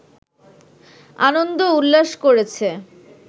আনন্দ উল্লাস করেছে